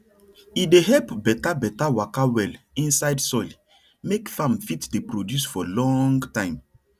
e dey help better better waka well inside soil make farm fit dey produce for long time